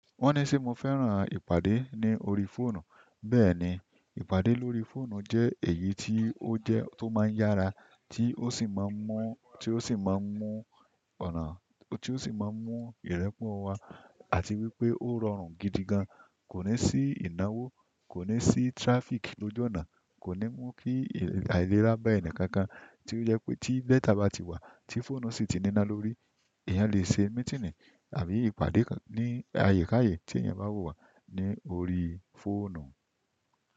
Wọ́n ní ṣe mo fẹ́ràn ìpàdẹ ní orí fóònù? Bẹ́ẹ̀ni, ìpàdé lórí fóònù jẹ́ èyí tí ó máa ń yára, tí ó sì máa ń mú ọ̀nà, tí ó sì máa ń mú ìrẹ́pọ̀ wá. Àti wípé ó rọrùn gidi gan, kò ní sí ìnáwó, kò ní sí traffic lójú ọ̀nà, kò ní mú kí àìlera bá ẹni kankan, tí ó jẹ́ pé tí data bá ti wà, tí fóònù sì ti ní iná lórí, èèyàn lè ṣe meeting àbí ìpàdé ní àyíká ayé tí ẹ̀yin bá fẹ́, lórí fóònù.